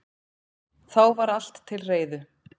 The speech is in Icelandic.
Þá var allt til reiðu